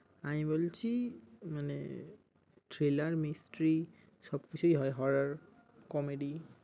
আমি বলছি thriller, mistry মানে সব কিছুই হয় horror, comedy ।